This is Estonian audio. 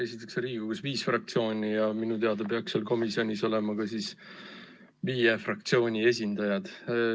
Esiteks, Riigikogus on viis fraktsiooni ja minu teada peaks seal komisjonis olema ka viie fraktsiooni esindajad.